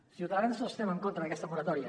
els ciutadans no estem en contra d’aquesta moratòria